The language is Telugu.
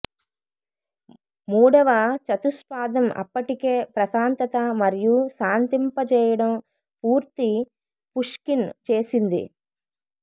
మూడవ చతుష్పాదం అప్పటికే ప్రశాంతత మరియు శాంతింపజేయడం పూర్తి పుష్కిన్ చేసింది